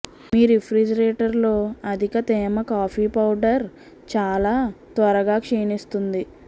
మీ రిఫ్రిజిరేటర్లో అధిక తేమ కాఫీ పౌడర్ చాలా త్వరగా క్షీణిస్తుంది